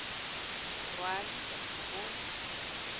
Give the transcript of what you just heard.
rwa di ka se hole